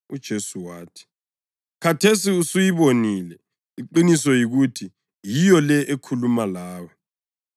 UJesu wathi, “Khathesi usuyibonile; iqiniso yikuthi yiyo le ekhuluma lawe.”